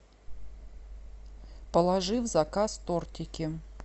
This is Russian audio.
положи в заказ тортики